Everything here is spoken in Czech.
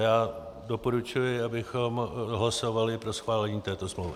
Já doporučuji, abychom hlasovali pro schválení této smlouvy.